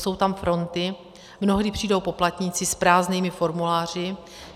Jsou tam fronty, mnohdy přijdou poplatníci s prázdnými formuláři.